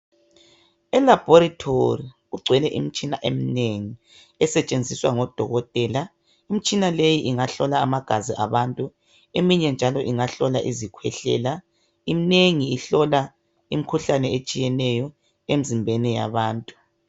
Elaboratory kugcwele imitshina eminengi esetshenziswa ngodokotela. Imtshina leyi ingahlola amagazi abantu eminye ingahlola izikhwehlela. Eminengi ihlola imikhuhlane etshiyeneyo emzimbeni yabantu